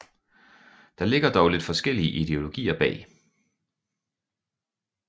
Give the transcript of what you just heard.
Der ligger dog lidt forskellige ideologier bag